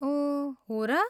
ओह, हो र!